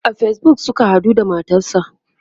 a Facebook Suka haɗu da matarsa